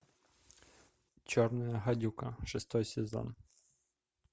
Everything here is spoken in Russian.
черная гадюка шестой сезон